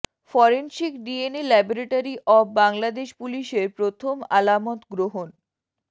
forensic DNA laboratory of Bangladesh পুলিশের প্রথম আলামত গ্রহণ